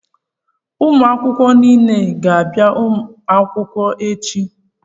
Ụmụ akwụkwọ niile a ga-abịa akwụkwọ echi.